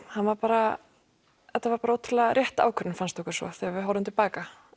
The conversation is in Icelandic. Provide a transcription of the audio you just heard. hann var bara þetta var bara ótrúlega rétt ákvörðun fannst okkur svo þegar við horfðum til baka